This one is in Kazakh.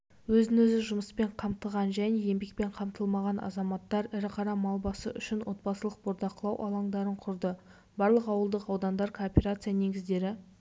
өзін-өзі жұмыспен қамтыған және еңбекпен қамтылмаған азаматтар ірі қара мал басы үшін отбасылық бордақылау алаңдарын құрды барлық ауылдық аудандарда кооперация негіздері